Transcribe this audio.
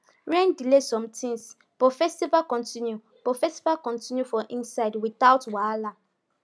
rain delay some things but festival continue but festival continue for inside without wahala